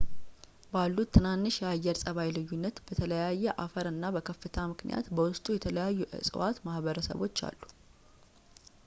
ባሉት ትናንሽ የአየር ጸባይ ልዩነት በተለያየ አፈር እና በከፍታ ምክንያት በውስጡ የተለያዩ የእፅዋት ማህበረሰቦች አሉት